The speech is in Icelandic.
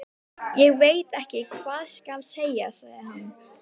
Ég veit ekki hvað skal segja sagði hann.